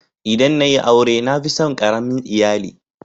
ldan na yi aure na fi tson karamin lyalli.